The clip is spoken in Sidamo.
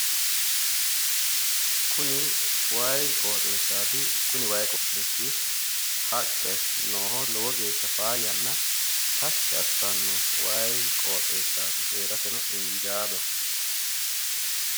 Kuni way qooxeessati kuni way qooxeessi haqqe nooho lowo geeshsha faayyanna lowo geeshsha tashshi assanoo heerateno injaadoho